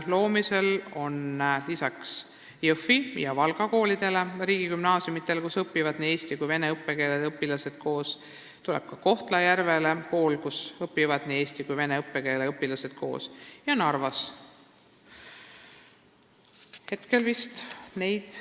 Loomisel on lisaks Jõhvi ja Valga koolidele, mis on riigigümnaasiumid ja kus õpivad koos eesti ja vene õppekeelega õpilased, kool ka Kohtla-Järvele, kus hakkavad koos õppima eesti ja vene õppekeelega õpilased, ja nii hakkab olema ka Narvas.